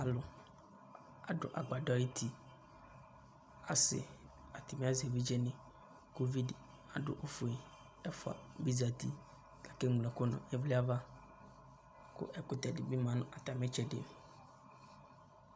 Alʋ mʋa, adʋ agbadɔ ayuti Asɩ, atanɩ azɛ evidzenɩ kʋ uvi dɩ adʋ ɛkʋfue, ɛfʋa bɩ zati kʋ akeŋlo ɛkʋ nʋ ɩvlɩ ava kʋ ɛkʋtɛ dɩ bɩ ma nʋ atamɩ tsɛdɩ